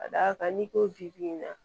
Ka d'a kan n'i ko bi in na